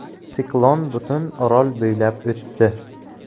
Siklon butun orol bo‘ylab o‘tdi.